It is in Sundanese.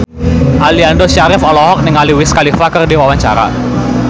Aliando Syarif olohok ningali Wiz Khalifa keur diwawancara